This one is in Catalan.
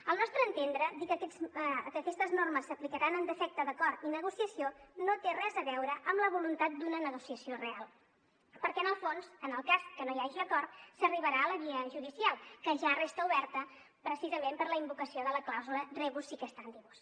al nostre entendre dir que aquestes normes s’aplicaran en defecte d’acord i negociació no té res a veure amb la voluntat d’una negociació real perquè en el fons en el cas que no hi hagi acord s’arribarà a la via judicial que ja resta oberta precisament per la invocació de la clàusula rebus sic stantibus